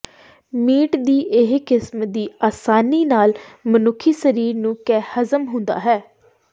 meat ਦੀ ਇਹ ਕਿਸਮ ਦੀ ਆਸਾਨੀ ਨਾਲ ਮਨੁੱਖੀ ਸਰੀਰ ਨੂੰ ਕੇ ਹਜ਼ਮ ਹੁੰਦਾ ਹੈ